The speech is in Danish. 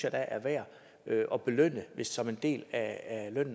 er værd at belønne som en del af